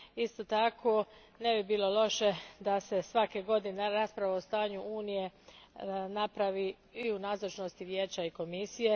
Isto tako ne bi bilo loše da se svake godine rasprava o stanju Unije napravi i u nazočnosti Vijeća i Komisije.